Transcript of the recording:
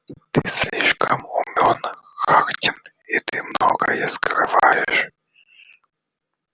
ты слишком умён хардин и ты многое скрываешь